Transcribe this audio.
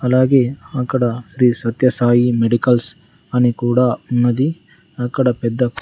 అలాగే అక్కడ శ్రీ సత్యసాయి మెడికల్స్ అని కూడా ఉన్నది అక్కడ పెద్ద--